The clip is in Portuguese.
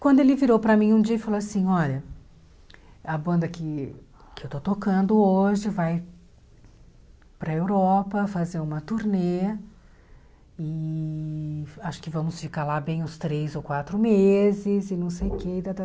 Quando ele virou para mim um dia e falou assim, olha, a banda que que eu estou tocando hoje vai para Europa fazer uma turnê e acho que vamos ficar lá bem uns três ou quatro meses e não sei o que e tá tá.